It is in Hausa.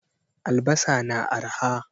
Albasa na arha.